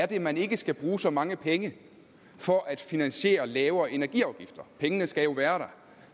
det er man ikke skal bruge så mange penge for at finansiere lavere energiafgifter pengene skal jo være der